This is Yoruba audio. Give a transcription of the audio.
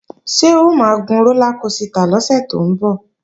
Ṣé o máa gun rólá kosità lọ́sẹ̀ tó ń bọ̀?